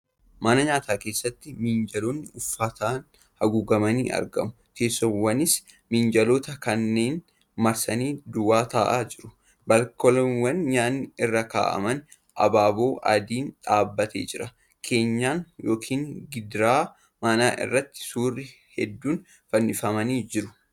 Mana nyaataa keessatti minjaalonni uffataan haguugamanii argamu. Teessoowwanis minjaalota kanneen marsanii duwwaa taa'aa jiru. Baalkooniiwwan nyaanni irra kaa'aman abaaboo adiin dhaabbatee jira. Keenyan yookiin gidaara manaa irratti suurri hedduun fannifamanii jiru.